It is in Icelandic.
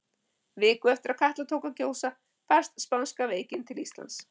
Viku eftir að Katla tók að gjósa barst spánska veikin til Íslands.